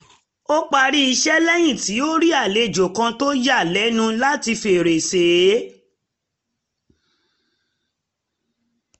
ó parí iṣẹ́ rẹ̀ lẹ́yìn tí ó rí àléjò kan tó yà á lẹ́nu láti fèrèsé